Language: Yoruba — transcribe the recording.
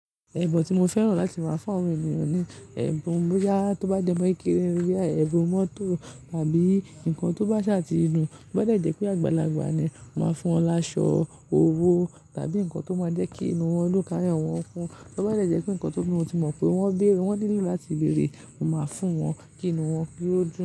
Ẹbun tí mo fẹ́ràn láti máa fún àwọn ènìyàn ni, ẹbun bóyá tó bá jẹ́ mọ́ kini, bíi ẹbun mọ́tò tàbí nǹkan tó bá ṣà ti dun. To bá dè jẹ́ pé àgbàlagbà ni, mo máa fún wọn láṣọ, owó tàbí nǹkan tó máa jẹ́ kí inú wọn dún káyò wọn kun. Tó bá jẹ́ jẹ́ pé nǹkan tó mọ̀ pé wọ́n béèrè wọ́n nílo láti bèrè, mo máa fún wọn kí inú wọn ki ó dùn.